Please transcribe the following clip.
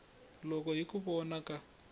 loko hi ku vona ka